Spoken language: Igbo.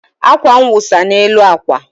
akwa m wụsa n'elu akwa